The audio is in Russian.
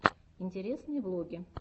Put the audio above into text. интересные влоги